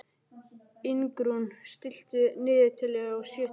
Ingrún, stilltu niðurteljara á sjötíu mínútur.